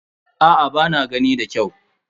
Aa ba na gani da kyau.